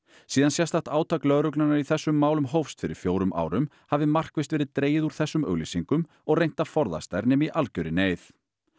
síðan sérstakt átak lögreglunnar í þessum málum hófst fyrir fjórum árum hafi markvisst verið dregið úr þessum auglýsingum og reynt að forðast þær nema í algjörri neyð